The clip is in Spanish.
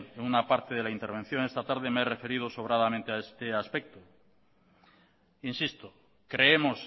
en una parte de la intervención esta tarde me he referido sobradamente a este aspecto insisto creemos